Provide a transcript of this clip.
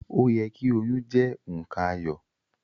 O yẹ ki oyún jẹ nkan ayọ̀.